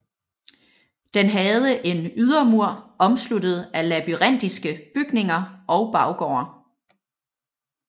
Den havde en ydermur omsluttet af labyrintiske bygninger og baggårde